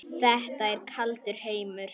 Þetta er kaldur heimur.